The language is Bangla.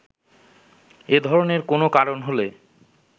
এ ধরনের কোনো কারণ হলে